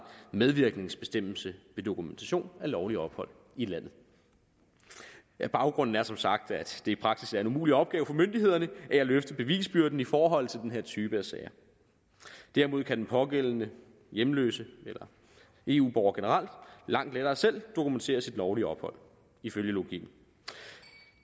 medvirkningsbestemmelse ved dokumentation af lovligt ophold i landet baggrunden er som sagt at det i praksis er en umulig opgave for myndighederne at løfte bevisbyrden i forhold til den her type sager derimod kan den pågældende hjemløse eller eu borger generelt langt lettere selv dokumentere sit lovlige ophold ifølge logikken